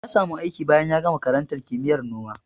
Ya samu aiki bayan ya gama karantar kimiyyar noma.